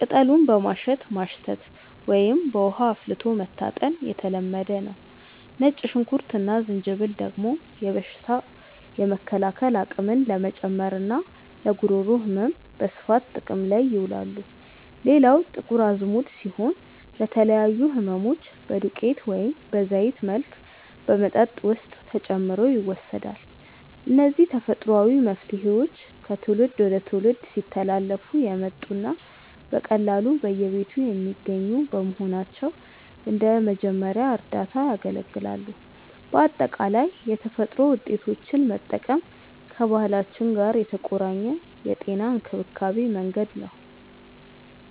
ቅጠሉን በማሸት ማሽተት ወይም በውሃ አፍልቶ መታጠን የተለመደ ነው። ነጭ ሽንኩርት እና ዝንጅብል ደግሞ በሽታ የመከላከል አቅምን ለመጨመርና ለጉሮሮ ህመም በስፋት ጥቅም ላይ ይውላሉ። ሌላው ጥቁር አዝሙድ ሲሆን፣ ለተለያዩ ህመሞች በዱቄት ወይም በዘይት መልክ በመጠጥ ውስጥ ተጨምሮ ይወሰዳል። እነዚህ ተፈጥሯዊ መፍትሄዎች ከትውልድ ወደ ትውልድ ሲተላለፉ የመጡና በቀላሉ በየቤቱ የሚገኙ በመሆናቸው እንደ መጀመሪያ እርዳታ ያገለግላሉ። በአጠቃላይ የተፈጥሮ ውጤቶችን መጠቀም ከባህላችን ጋር የተቆራኘ የጤና እንክብካቤ መንገድ ነው።